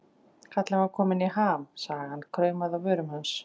Kallinn var kominn í ham, sagan kraumaði á vörum hans.